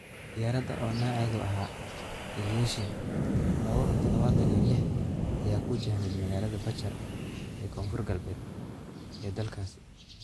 Diyaarada oo nooceedu ahaa Ilyushin lawo-tadhawatan iyo liix ayaa ku wajahneyd magaalada Bachar ee Koonfur Galbeed ee dalkaasi.